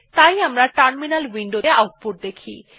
তাই আমরা terminal window ত়ে আউটপুট দেখি